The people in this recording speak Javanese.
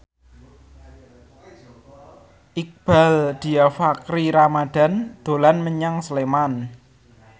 Iqbaal Dhiafakhri Ramadhan dolan menyang Sleman